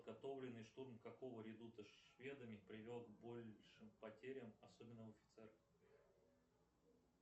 подготовленный штурм какого редута шведами привел к большим потерям особенно у офицеров